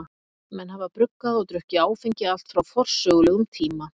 Menn hafa bruggað og drukkið áfengi allt frá forsögulegum tíma.